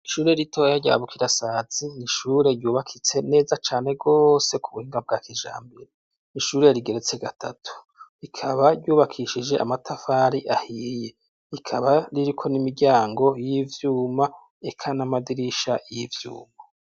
Ishure ritoya rya bukirasazi n'ishure ryubakitse neza cane rwose ku buhinga bwa kijambere, n’ishure rigeretse gatatu, ikaba ryubakishije amatafari ahiye ikaba ririko n'imiryango y'ivyuma eka n'amadirisha y'ivyuma.